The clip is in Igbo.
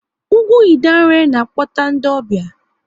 Ugwu Idanre na-akpọta ndị ọbịa